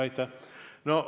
Aitäh!